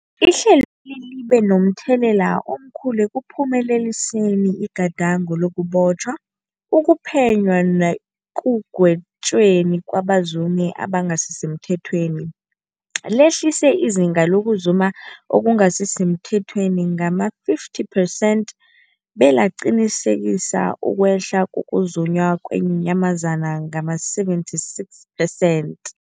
Ihlelweli libe momthelela omkhulu ekuphumeleliseni igadango lokubotjhwa, ukuphenywa nekugwetjweni kwabazumi abangasisemthethweni, lehlisa izinga lokuzuma okungasi semthethweni ngama-50 percent belaqinisekisa ukwehla kokuzunywa kweenyamazana ngama-76 percent.